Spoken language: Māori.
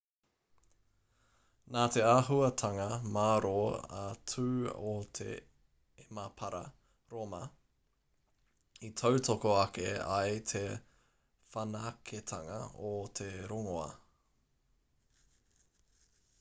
nā te āhuatanga mārō a tū o te emapara rōma i tautoko ake ai te whanaketanga o te rongoā